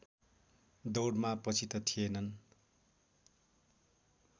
दौडमा पछि त थिएनन्